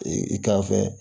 Ee i kan fɛ